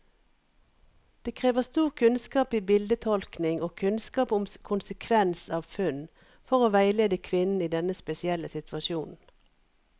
Det krever stor kunnskap i bildetolkning og kunnskap om konsekvens av funn, for å veilede kvinnen i denne spesielle situasjonen.